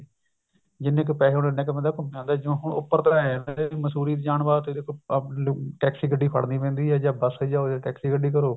ਜਿੰਨੇ ਕੁ ਪੈਸੇ ਹੁੰਦੇ ਉੰਨਾ ਕੁ ਬੰਦਾ ਘੁੰਮ ਆਉਂਦਾ ਸੀ ਜੀਓ ਹੁਣ ਉੱਪਰ ਤਾਂ ਏਵੇਂ ਹੈ ਮੰਸੂਰੀ ਜਾਣ ਵਾਸਤੇ ਆਪਣੀ taxi ਗੱਡੀ ਫੜਨੀ ਪੈਂਦੀ ਹੈ ਜਾਂ ਬੱਸ ਚ ਜਾਓ ਜਾਂ taxi ਗੱਡੀ ਕਰੋ